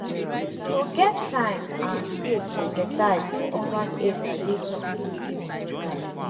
to get time and space exercise for urban area dey possible if we try.